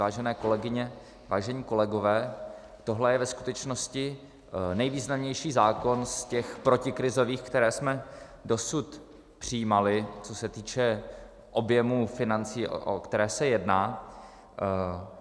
Vážené kolegyně, vážení kolegové, tohle je ve skutečnosti nejvýznamnější zákon z těch protikrizových, které jsme dosud přijímali, co se týče objemu financí, o které se jedná.